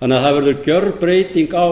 það verður gjörbreyting á